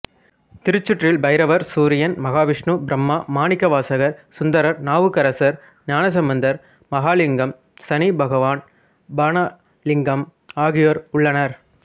திருச்சுற்றில் பைரவர் சூரியன் மகாவிஷ்ணு பிரம்மா மாணிக்கவாசகர் சுந்தரர் நாவுக்கரசர் ஞானசம்பந்தர் மகாலிங்கம் சனி பகவான் பாணலிங்கம் ஆகியோர் உள்ளனர்